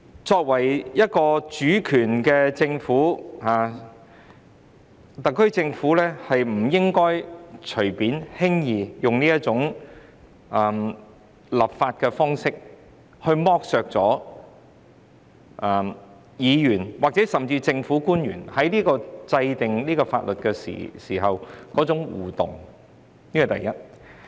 作為主權政府，特區政府不應輕易採用這種立法方式，令議員或政府官員在制定法例過程中不能互動，這是第一點。